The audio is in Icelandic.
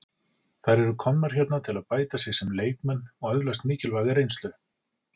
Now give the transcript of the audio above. Þær eru komnar hérna til að bæta sig sem leikmenn og öðlast mikilvæga reynslu.